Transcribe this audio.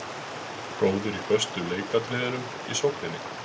Góður í föstu leikatriðunum í sókninni.